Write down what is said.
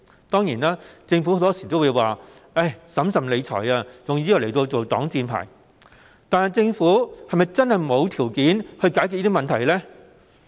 當然，政府很多時候會以"審慎理財"作擋箭牌，但是否真的沒有條件解決上述問題呢？